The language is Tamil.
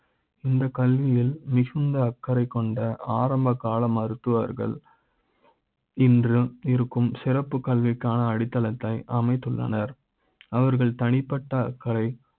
இந்த கல்வி யில் மிகுந்த அக்கறை கொண்ட ஆரம்ப கால மருத்துவர்கள் இன்று இருக்கும் சிறப்பு கல்வி க்கான அடித்தள த்தை அமைத்துள்ளனர் அவர்கள் தனிப்பட்ட அக்கரை